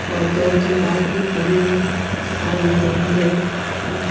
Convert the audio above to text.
और दो तीन बाहर की भी खड़ी हुई दिखाई दे रही है।